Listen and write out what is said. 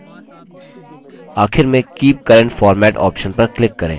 आखिर में keep current format option पर click करें